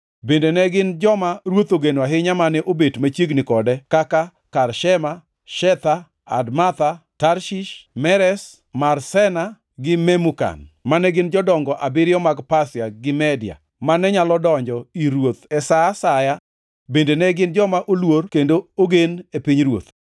bende ne gin joma ruoth ogeno ahinya mane bet machiegni kode kaka Karshena, Shetha, Admatha, Tarshish, Meres, Marsena gi Memukan, mane gin jodongo abiriyo mag Pasia gi Media mane nyalo donjo ir ruoth e sa asaya bende ne gin joma oluor kendo ogen e pinyruoth.